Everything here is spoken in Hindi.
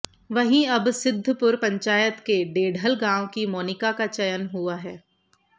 वहीं अब सिद्धपुर पंचायत के डेढल गांव की मोनिका का चयन हुआ है